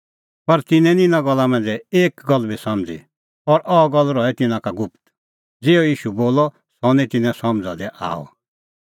पर तिन्नैं निं इना गल्ला मांझ़ै एक गल्ल बी समझ़ी और अह गल्ल रही तिन्नां का गुप्त ज़िहअ ईशू बोलअ सह निं तिन्नें समझ़ा दी आअ